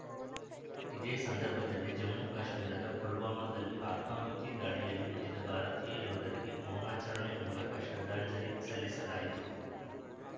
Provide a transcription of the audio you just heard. ಇದೇ ಸಂದರ್ಭದಲ್ಲಿ ಜಮ್ಮು ಕಾಶ್ಮೀರದ ಪುಲ್ವಾಮದಲ್ಲಿ ಆತ್ಮಾಹುತಿ ದಾಳಿಯಲ್ಲಿ ಮಡಿದ ಭಾರತೀಯ ಯೋಧರಿಗೆ ಮೌನಾಚಾರಣೆ ಮೂಲಕ ಶ್ರದ್ಧಾಂಜಲಿ ಸಲ್ಲಿಸಲಾಯಿತು